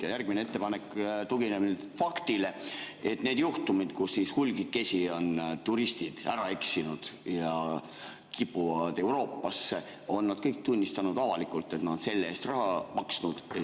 Ja järgmine ettepanek tugineb faktile, et nendel juhtumitel, kus hulgakesi on turistid ära eksinud ja kipuvad Euroopasse, on nad kõik tunnistanud avalikult, et nad on selle eest raha maksnud.